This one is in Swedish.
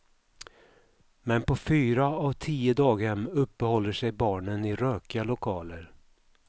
Men på fyra av tio daghem uppehåller sig barnen i rökiga lokaler.